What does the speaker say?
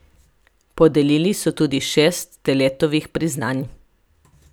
Podelili so tudi šest Steletovih priznanj.